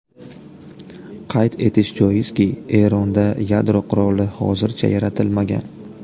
Qayd etish joizki, Eronda yadro quroli hozircha yaratilmagan.